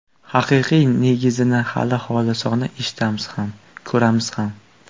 Haqiqiy negizini, hali xolisona eshitamiz ham, ko‘ramiz ham.